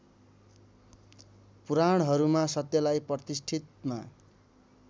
पुराणहरूमा सत्यलाई प्रतिष्ठितमा